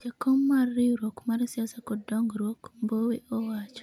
jakom mar riwruok mar siasa kod dongruok ,Mbowe owacho